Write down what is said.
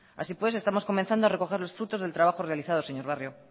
así pues estamos comenzando a recoger los frutos del trabajo realizado señor barrio